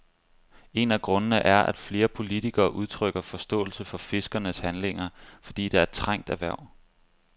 En af grundene er, at flere politikere udtrykker forståelse for fiskernes handlinger, fordi det er et trængt erhverv.